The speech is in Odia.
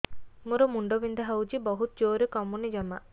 ମୋର ମୁଣ୍ଡ ବିନ୍ଧା ହଉଛି ବହୁତ ଜୋରରେ କମୁନି ଜମା